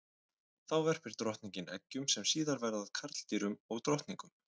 Þá verpir drottningin eggjum sem síðar verða að karldýrum og drottningum.